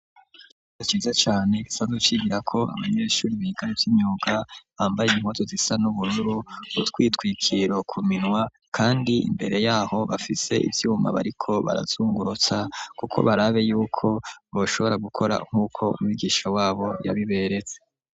Niciza cane gisanz cigira ko abanyeshuri biga vy'inyuga bambaye imkoto zisa n'ubururu, utwitwikiro ku minwa ,kandi imbere yaho bafise ivyuma bariko barazungurutsa, kuko barabe yuko bashobora gukora nk'uko umwigisha wabo yabiberetse.